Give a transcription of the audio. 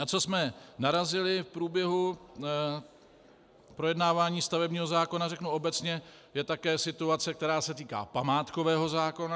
Na co jsme narazili v průběhu projednávání stavebního zákona, řeknu obecně, je také situace, která se týká památkového zákona.